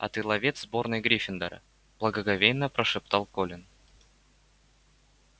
а ты ловец сборной гриффиндора благоговейно прошептал колин